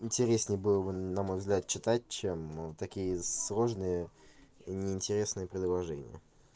интересней было бы на мой взгляд читать чем вот такие сложные и неинтересные предложения